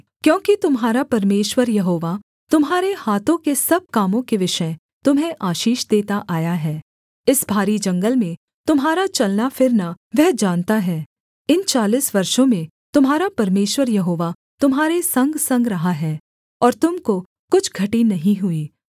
क्योंकि तुम्हारा परमेश्वर यहोवा तुम्हारे हाथों के सब कामों के विषय तुम्हें आशीष देता आया है इस भारी जंगल में तुम्हारा चलना फिरना वह जानता है इन चालीस वर्षों में तुम्हारा परमेश्वर यहोवा तुम्हारे संगसंग रहा है और तुम को कुछ घटी नहीं हुई